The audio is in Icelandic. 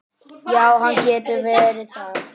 Já, hann getur verið það.